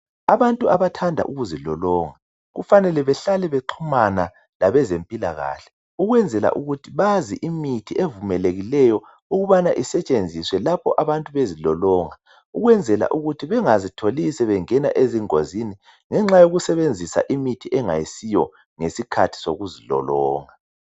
Abantu abathanda ukuzilolonga kufanele behlale bexhumana labezempilakahle ukwenzela ukuthi bazi imithi evumelekileyo ukubana isetshenziswa lapho abantu bezilolonga ukwenzela ukuthi bengazitholi sebengena ezingozini ngenxa yokusebenzisa imithi engayisiyo ngesikhathi sokuzilolonga.